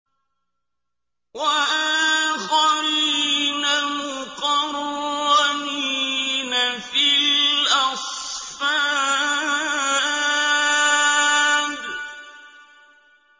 وَآخَرِينَ مُقَرَّنِينَ فِي الْأَصْفَادِ